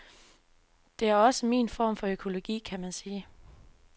Det er også min form for økologi, kan man sige.